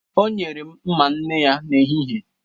O nyere m mma nne ya n'ehihie.